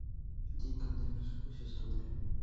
день когда вершилась история